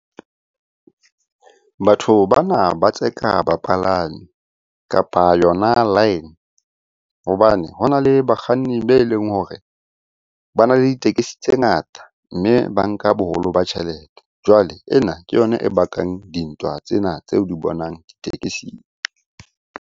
Batho bana ba tseka bapalami, kapa yona line hobane hona le bakganni be leng hore bana le ditekesi tse ngata, mme ba nka boholo ba tjhelete. Jwale ena ke yona e bakang dintwa tsena tse o di bonang ditekesing.